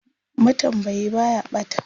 matambayi Baya ɓata